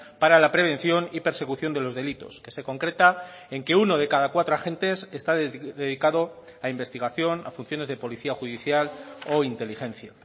para la prevención y persecución de los delitos que se concreta en que uno de cada cuatro agentes está dedicado a investigación a funciones de policía judicial o inteligencia